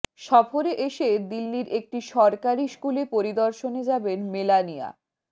সফরে এসে দিল্লির একটি সরকারি স্কুলে পরিদর্শনে যাবেন মেলানিয়া